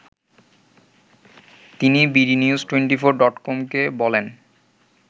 তিনি bdnews twenty four ডটকমকে বলেন